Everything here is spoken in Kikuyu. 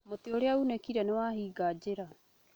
Mũtĩ ũrĩa uunĩkire nĩwahinga njĩra